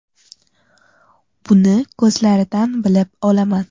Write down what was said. Buni ko‘zlaridan bilib olaman.